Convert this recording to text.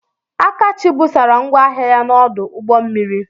Akachi busara ngwa ahịa ya n'ọdụ ụgbọ mmiri.